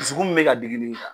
Dusukun min bɛ ka digidigi la.